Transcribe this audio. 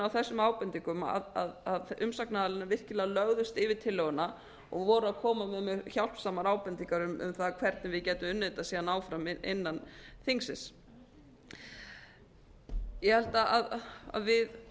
þessum ábendingum að umsagnaraðilarnir virkilega lögðust yfir tillöguna og voru að koma með hjálpsamar ábendingar um það hvernig við gætum unnið þetta síðan áfram innan þingsins ég held að við